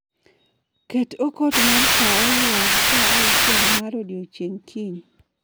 Ket okot mar saa oyuag saa auchiel mar odiechieng kiny.